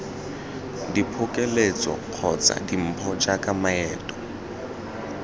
diphokoletso kgotsa dimpho jaaka maeto